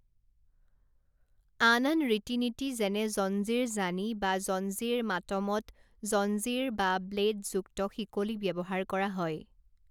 আন আন ৰীতি নীতি যেনে জঞ্জীৰ জানি বা জঞ্জীৰ মাতমত জঞ্জীৰ বা ব্লেডযুক্ত শিকলি ব্যৱহাৰ কৰা হয়।